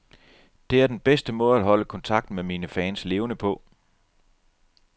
Det er den bedste måde at holde kontakten med mine fans levende på.